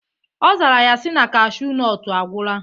Ọ zara ya si na cashu nọt agwụla.